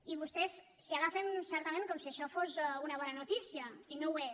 i vostès s’hi agafen certament com si això fos una bona notícia i no ho és